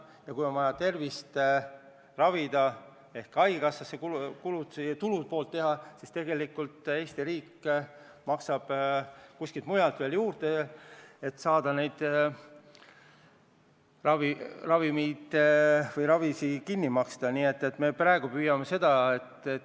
Ja kui meie inimestel on vaja tervist ravida, kui meil on vaja haigekassa tulude pool tagada, siis tegelikult Eesti riik maksab kuskilt mujalt sinna juurde, et saaks ravimeid või ravi kinni maksta.